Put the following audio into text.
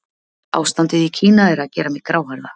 ástandið í kína er að gera mig gráhærða